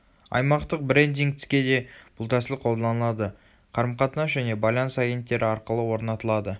аймақтық брендингтке де бұл тәсіл қолданылады қарым-қатынас және байланыс агенттері арқылы орнатылады